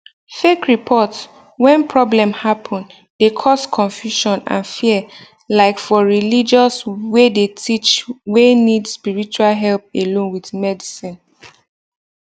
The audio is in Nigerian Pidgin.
fake report when problem happen de cause confusion and fear like for religious wey de teach wey need spirtual help alone with medicine